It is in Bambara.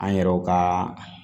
An yɛrɛw ka